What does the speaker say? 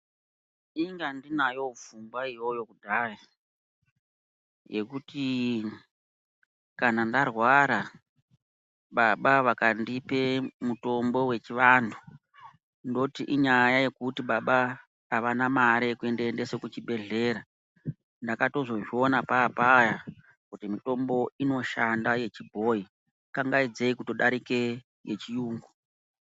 Inga ndinayowo pfungwa iyoyo kudhaya yekuti kana ndarwara baba vakandipe mitombo wechivanhu ndoti inyaya yekuti baba avana mare yekundiendesa kuchibhedhlera. Ndakatozozviona papaya kuti mitombo inoshanda yechibhoyi kanagaidzei kutodarika yechirungu.